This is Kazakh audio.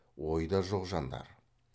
ойда жоқ жандар